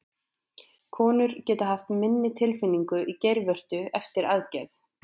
Konur geta einnig haft minni tilfinningu í geirvörtu eftir aðgerð.